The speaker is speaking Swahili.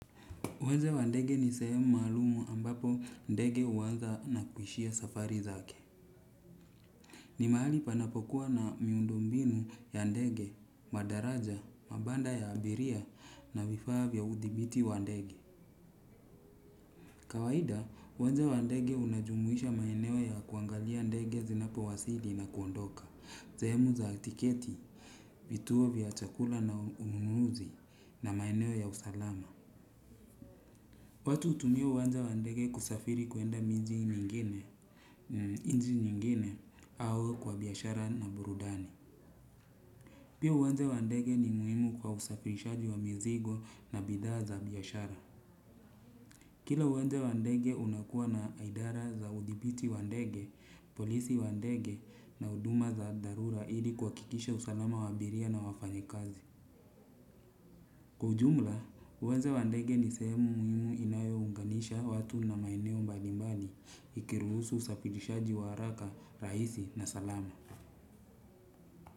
Uwanja wa ndege ni sehemu maalum ambapo ndege huanza na kuishia safari zake. Ni mahali panapokuwa na miundumbinu ya ndege, madaraja, mabanda ya abiria na vifaa vya udhibiti wa ndege. Kawaida, uwanja wa ndege unajumuisha maeneo ya kuangalia ndege zinapo wasili na kuondoka. Sehemu za tiketi, vituo vya chakula na ununuzi na maeneo ya usalama. Watu hutumia uwanja wa ndege kusafiri kuenda miji mingine. Nchi nyingine au kwa biashara na burudani. Pia uwanja wa ndege ni muhimu kwa usafirishaji wa mizigo na bidhaa za biashara. Kila uwanja wa ndege unakuwa na idara za udhibiti wa ndege, polisi wa ndege na huduma za dharura ili kuhakikisha usalama wa abiria na wafanyikazi. Kwa ujumla, uwanja wa ndege ni sehemu muhimu inayo unganisha watu na maeneo mbalimbani ikiruhusu usafirishaji wa haraka, rahisi na salama.